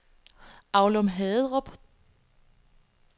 Aulum-Haderup